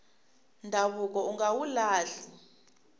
ndhavuko unga wu lahli